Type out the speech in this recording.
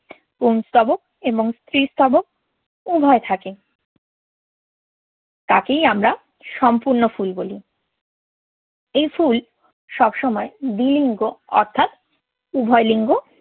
পুংস্তবক এবং স্ত্রীস্তবক উভয়ই থাকে, তাকেই আমরা সম্পূর্ণ ফুল বলি। এই ফুল সবসময় দ্বি-লিঙ্গ অর্থাৎ উভয় লিঙ্গ